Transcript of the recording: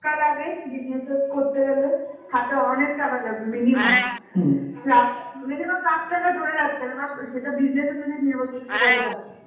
টাকা লাগে. business এ করতে গেলে, হাতে অনেক টাকা লাগবে minimum. রা~ minimum লাখ টাকা ধরে রাখতে হবে বা সেটা business অনুযায়ী নর্ভর করছে যে কত টাকা.